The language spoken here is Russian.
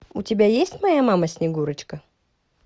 у тебя есть моя мама снегурочка